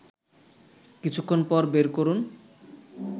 কিছুক্ষণ পর বের করুন